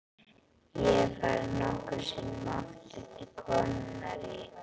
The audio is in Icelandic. Ég hef farið nokkrum sinnum aftur til konunnar í